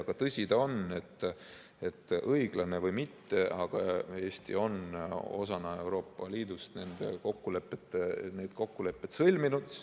Aga tõsi ta on, et õiglane või mitte, aga Eesti on osana Euroopa Liidust need kokkulepped sõlminud.